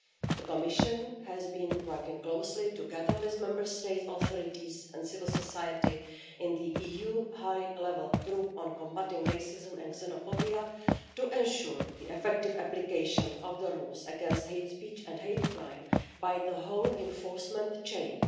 The Commission has been working closely together with Member State authorities and civil society in the EU High Level Group on combating racism and xenophobia to ensure the effective application of the rules against hate speech and hate crime by the whole enforcement chain.